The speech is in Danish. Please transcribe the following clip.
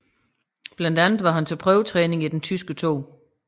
Blandt andet var han til prøvetræning i den tyske 2